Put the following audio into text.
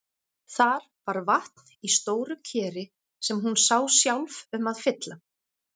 Þar var vatn í stóru keri sem hún sá sjálf um að fylla.